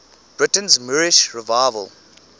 britain's moorish revival